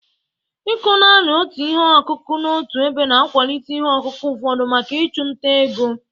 Ịkọ naanị otu ihe akụkụ n'otu ebe na-akwalite ihe ọkụkụ ụfọdụ maka ịchụ nta ego.